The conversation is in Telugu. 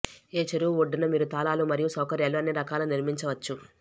ఏ చెరువు ఒడ్డున మీరు తాళాలు మరియు సౌకర్యాలు అన్ని రకాల నిర్మించవచ్చు